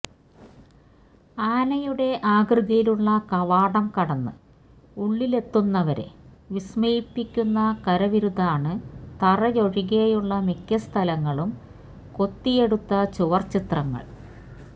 ആനയുടെ ആകൃതിയിലുള്ള കവാടം കടന്ന് ഉള്ളിലെത്തുന്നവരെ വിസ്മയിപ്പിക്കുന്ന കരവിരുതാണ് തറയൊഴികെയുള്ള മിക്ക സ്ഥലങ്ങളും കൊത്തിയെടുത്ത ചുവർ ചിത്രങ്ങൾ